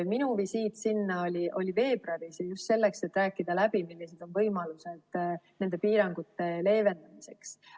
Minu visiit sinna oli veebruaris just selleks, et rääkida läbi, millised on võimalused nende piirangute leevendamiseks.